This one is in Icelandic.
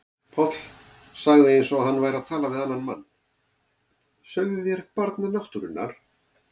Páll sagði eins og hann væri að tala við annan mann: Sögðuð þér Barn náttúrunnar?